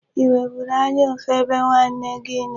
Ị nweburu anya ụfụ ebe nwanne gị nọ?